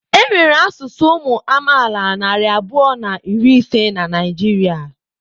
Enwere asụsụ ụmụ amaala narị abụọ na iri ise na Naịjirịa.